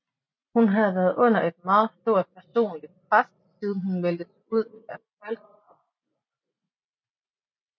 Hun havde været under et meget stort personligt pres siden hun meldte sig ud af Fólkaflokkurin